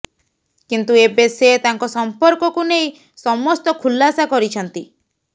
କିନ୍ତୁ ଏବେ ସେ ତାଙ୍କ ସଂପର୍କକୁ ନେଇ ସମସ୍ତ ଖୁଲାସା କରିଛନ୍ତି